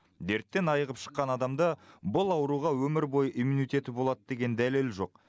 дерттен айығып шыққан адамда бұл ауруға өмір бойы иммунитеті болады деген дәлел жоқ